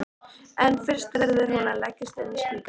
En fyrst verður hún að leggjast inn á spítala.